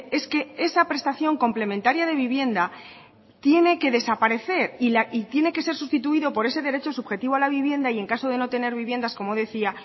es que esa prestación complementaria de vivienda tiene que desaparecer y tiene que ser sustituido por ese derecho subjetivo a la vivienda y en caso de no tener viviendas como decía